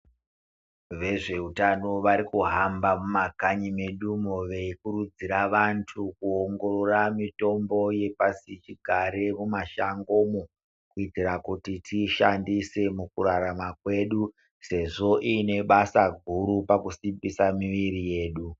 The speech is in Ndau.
Vezveutano varikuhamba mumakanyi medumo veikurudzira vantu kuongorora mitombo yapasi chigare mumashangomo. Kuitira kuti tiishandise mukurarama kwedu sezvo ine basa guru pakusimbisa miviri yedu.